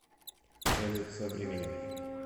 салют со временем